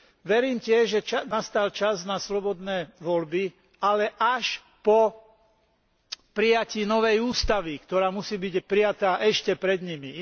Verím tiež, že nastal čas na slobodné voľby, ale až po prijatí novej ústavy, ktorá musí byť prijatá ešte pred nimi.